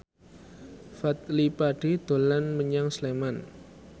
Fadly Padi dolan menyang Sleman